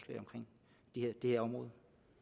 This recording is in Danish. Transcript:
det her område